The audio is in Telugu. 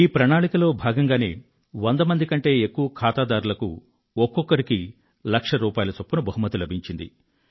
ఈ ప్రణాళికలో భాగంగానే వంద కంటే ఎక్కువ ఖాతాదారులకు ఒక్కొక్కరికీ లక్ష రూపాయల చొప్పున బహుమతి లభించింది